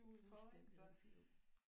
Fuldstændig rigtigt jo